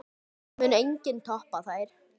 Það mun enginn toppa þær.